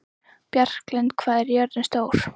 Bjarklind, hvað er jörðin stór?